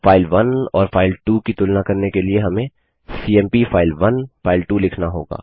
file 1 और file two की तुलना करने के लिए हमें सीएमपी फाइल1 फाइल2 लिखना होगा